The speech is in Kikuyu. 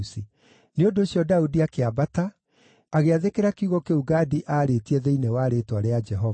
Nĩ ũndũ ũcio Daudi akĩambata agĩathĩkĩra kiugo kĩu Gadi aarĩtie thĩinĩ wa rĩĩtwa rĩa Jehova.